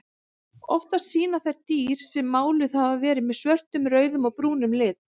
Oftast sýna þær dýr sem máluð hafa verið með svörtum, rauðum og brúnum lit.